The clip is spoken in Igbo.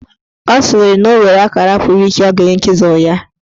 Ọ sịrị na o nwere akara puru iche ọ ga-enye chịzụl ya.